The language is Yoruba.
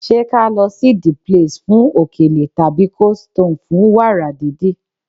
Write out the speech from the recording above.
Ṣé ka lọ sí "the place" fún òkèlè tàbí "coldstone" fún wàrà didi?